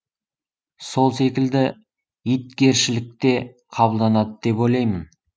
сол секілді итгершілік те қабылданады деп ойлаймын